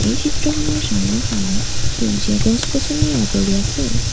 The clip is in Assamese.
এই চিত্ৰখনৰ চাৰিওফালে সেউজীয়া গছ-গছনিৰে আৱৰি আছে।